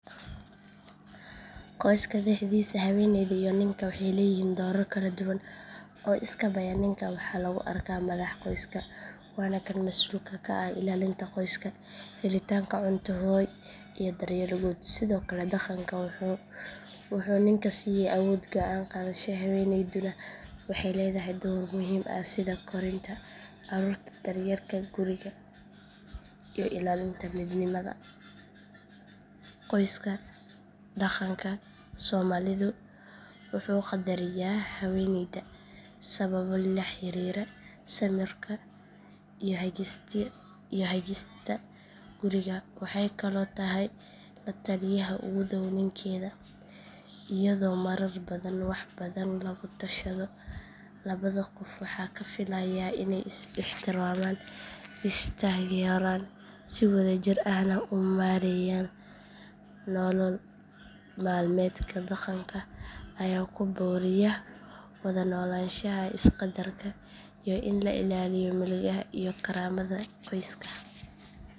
Qoyska dhexdiisa haweeneyda iyo ninka waxay leeyihiin doorar kala duwan oo iskaabaya ninka waxaa lagu arkaa madaxa qoyska waana kan masuulka ka ah ilaalinta qoyska helitaanka cunto hoy iyo daryeel guud sidoo kale dhaqanka wuxuu ninka siiyay awood go’aan qaadasho haweeneyduna waxay leedahay door muhiim ah sida korinta caruurta daryeelka guriga iyo ilaalinta midnimada qoyska dhaqanka soomaalidu wuxuu qadariyaa haweeneyda sababo la xiriira samirka iyo hagista guriga waxay kaloo tahay la taliyaha ugu dhaw ninkeeda iyadoo marar badan wax badan lagu tashado labada qof waxaa la filayaa inay is ixtiraamaan is taageeraan si wadajir ahna u maareeyaan nolol maalmeedka dhaqanka ayaa ku boorriya wada noolaanshaha is qadarka iyo in la ilaaliyo milgaha iyo karaamada qoyska.